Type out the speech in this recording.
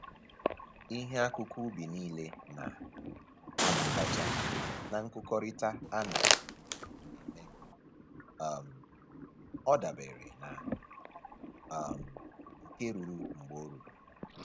Ihe akụkụ ubi nile na-abatacha na nkụkọrịta a na-eme, um ọ dabere na um nke ruru mgbe o ruru